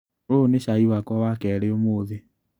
ũyũ nĩ cai wakwa wa kerĩ ũmũthĩ.